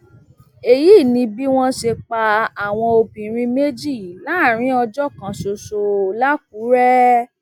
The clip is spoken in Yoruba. èyí ni bí wọn ṣe pa àwọn obìnrin méjì láàrin ọjọ kan ṣoṣo làkúrẹ